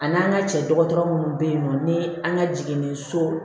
A n'an ka cɛ dɔgɔtɔrɔ munnu be yen nɔ ni an ka jiginni so